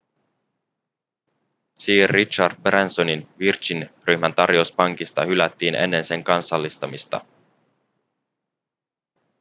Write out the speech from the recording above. sir richard bransonin virgin-ryhmän tarjous pankista hylättiin ennen sen kansallistamista